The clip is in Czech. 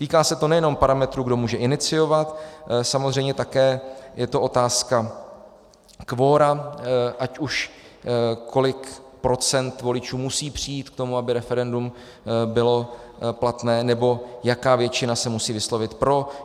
Týká se to nejenom parametru, kdo může iniciovat, samozřejmě také je to otázka kvora, ať už kolik procent voličů musí přijít k tomu, aby referendum bylo platné, nebo jaká většina se musí vyslovit pro.